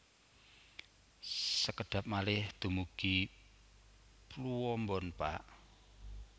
Sekedhap malih dumugi Pluombon Pak